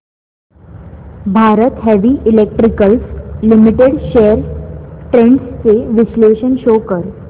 Bharat heavy electricals limited shares trends चे विश्लेषण show कर